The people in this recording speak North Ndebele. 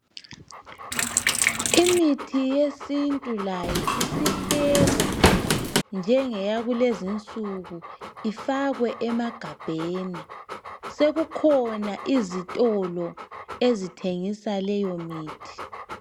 Imithi yesintu layo isiphekwa njengeya kulezi nsuku ifakwe emagabheni sokukhona izitolo ezithengisa leyo mithi